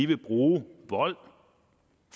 vil bruge vold